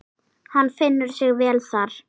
Hann finnur sig vel þar.